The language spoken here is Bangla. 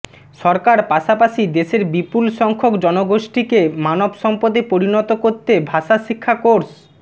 সরকার পাশাপশি দেশের বিপুল সংখ্যক জনগোষ্ঠিকে মানব সম্পদে পরিণত করতে ভাষা শিক্ষা কোর্স